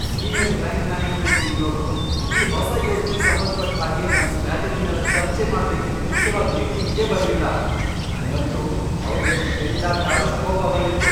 Senior client management ಟೀಮ್ನೋರು ಈ ಹೊಸ ಯೋಜ್ನೆಗ್ ಸಂಬಂಧಪಟ್ಟ್ಹಾಗೆ ನಮ್ ಸ್ಟ್ರ್ಯಾಟಜಿನೆಲ್ಲ ಚರ್ಚೆ ಮಾಡ್ಬೇಕಿದ್ ಮುಖ್ಯವಾದ್ ಮೀಟಿಂಗಿಗೇ ಬರ್ಲಿಲ್ಲ, ನಂಗಂತೂ ಅವ್ರ್ ಮೇಲ್ ಕೆಂಡಕಾರೋಷ್ಟ್ ಕೋಪ ಬಂದಿತ್ತು.